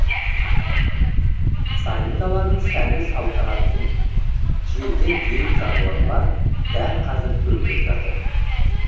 сайын даланың сәні саналатын желден жүйрік жануарлар дәл қазір төлдеп жатыр